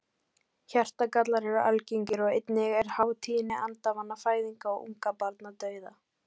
Hjartagallar eru algengir og einnig er há tíðni andvana fæðinga og ungbarnadauða.